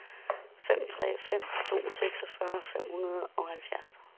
fem tre fem to seksogfyrre fem hundrede og halvfjerds